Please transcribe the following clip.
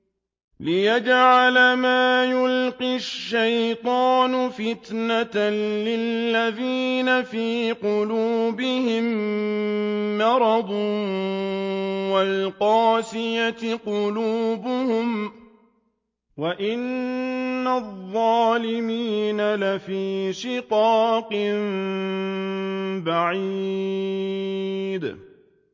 لِّيَجْعَلَ مَا يُلْقِي الشَّيْطَانُ فِتْنَةً لِّلَّذِينَ فِي قُلُوبِهِم مَّرَضٌ وَالْقَاسِيَةِ قُلُوبُهُمْ ۗ وَإِنَّ الظَّالِمِينَ لَفِي شِقَاقٍ بَعِيدٍ